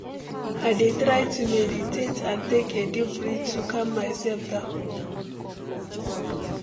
i dey try to meditate and take a deep breath to calm myself down.